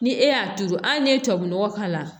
Ni e y'a turu hali n'i ye tubabu nɔgɔ k'a la